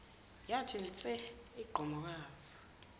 yathi nse igqomoza